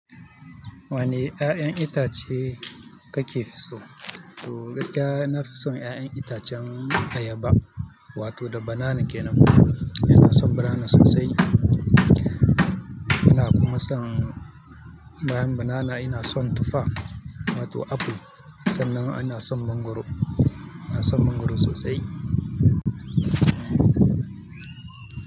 Wane ƴaƴan itace kake so? To gaskiya, na fi son ƴaƴan itacen ayaba, wato da banana kenan. Ina son banana sosai. Ina kuma son banana ina son tufa, wato aful. Sannan ina son mangwaro, ina son mangwaro sosai.